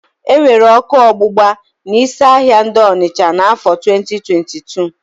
E nwere ọ́kụ́ ọgbụgba n'ísí ahịa dị n'ọnịsha n'áfọ̀ 2022.